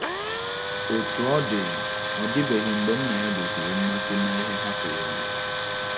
Otú ọ dị, ọ dịbeghị mgbe nna ya gosiri mmasị na ihe ha kwenyere.